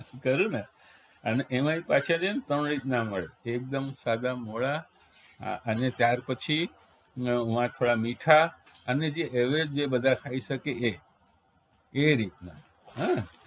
કહ્યું ને અને એમાય પાછા છે ને ત્રણેક રીતના હોય એકદમ સાદા મોળા અને ત્યારપછી વા થોડા મીઠાં અને જે average બધા ખાઈ શકે એ એ રીતના